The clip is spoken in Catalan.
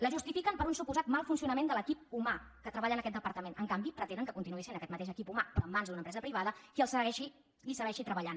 la justifiquen per un suposat mal funcionament de l’equip humà que treballa en aquest departament en canvi pretenen que continuï sent aquest mateix equip humà però en mans d’una empresa privada qui hi segueixi treballant